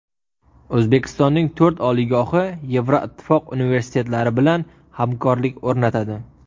O‘zbekistonning to‘rt oliygohi Yevroittifoq universitetlari bilan hamkorlik o‘rnatadi.